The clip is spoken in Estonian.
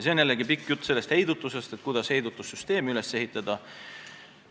See on jällegi pikk jutt heidutusest, sellest, kuidas heidutussüsteemi üles ehitada.